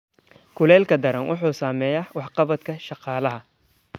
Kuleylka daran wuxuu saameeyaa waxqabadka shaqaalaha.